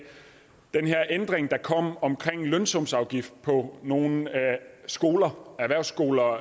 den ændring der kom om en lønsumsafgift på nogle skoler erhvervsskoler og